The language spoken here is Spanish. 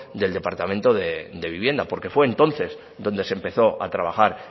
del departamento de vivienda porque fue entonces donde se empezó a trabajar